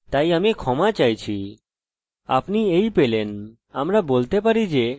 আপনি এই পেলেন আমরা বলতে পারি যে বিশিষ্ট এরর পেয়ে গেছি ঠিক আছে